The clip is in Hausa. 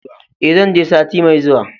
E, zan je sati mai zuwa.